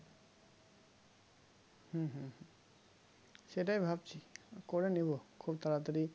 হুম হুম হুম সেটাই ভাবছি করে নেবো খুব তাড়াতাড়ি